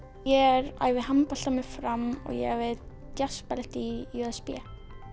ég æfi handbolta með Fram og ég æfi djassballet í j s b